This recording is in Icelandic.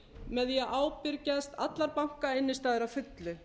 með því að ábyrgjast allar bankainnstæður að fullu